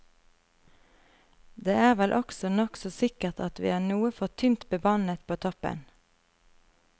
Det er vel også nokså sikkert at vi er noe for tynt bemannet på toppen.